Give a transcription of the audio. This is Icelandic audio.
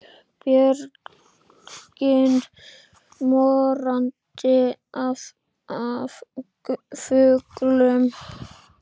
Björgin morandi af fuglum.